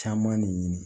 Caman de ɲini